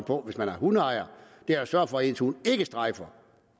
på hvis man er hundeejer er at sørge for at ens hund ikke strejfer